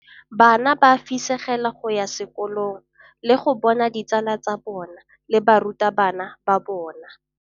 Bana ba fisegela go ya sekolong le go bona ditsala tsa bona le barutabana ba bona.